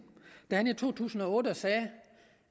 da han i to tusind og otte sagde